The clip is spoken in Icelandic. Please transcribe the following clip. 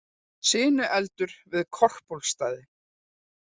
Sinueldur við Korpúlfsstaði